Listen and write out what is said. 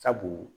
Sabu